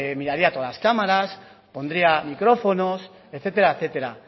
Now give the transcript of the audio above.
miraría todas las cámaras pondría micrófonos etcétera etcétera